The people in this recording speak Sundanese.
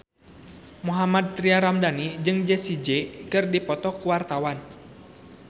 Mohammad Tria Ramadhani jeung Jessie J keur dipoto ku wartawan